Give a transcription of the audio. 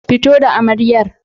Fito da amaryar!